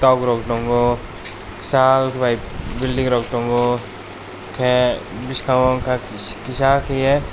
tok rog tongo kisa lai building rog tongo ke bisingo unkempt kisa kaie.